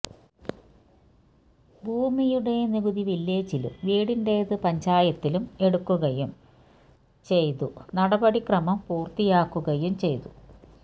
ഭൂമിയുടെ നികുതി വില്ലേജിലും വീടിന്റെതു പഞ്ചായത്തിലും എടുക്കുകയും ചെയ്തു നടപടിക്രമം പൂര്ത്തിയാക്കുകയും ചെയ്തു